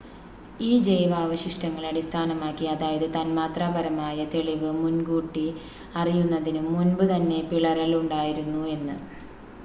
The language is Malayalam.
ഈ ജൈവാവശിഷ്ടങ്ങളെ അടിസ്ഥാനമാക്കി അതായത് തന്മാത്രാപരമായ തെളിവ് മുൻ കൂട്ടി അറിയുന്നതിനും മുൻപ് തന്നെ പിളരൽ ഉണ്ടായിരുന്നു എന്ന്